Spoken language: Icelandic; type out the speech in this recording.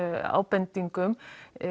ábendingum